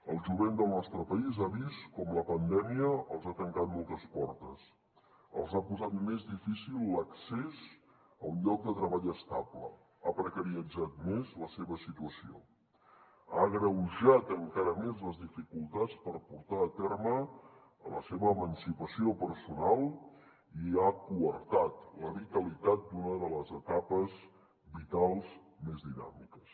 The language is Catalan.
el jovent del nostre país ha vist com la pandèmia els ha tancat moltes portes els ha posat més difícil l’accés a un lloc de treball estable ha precaritzat més la seva situació ha agreujat encara més les dificultats per portar a terme la seva emancipació personal i ha coartat la vitalitat d’una de les etapes vitals més dinàmiques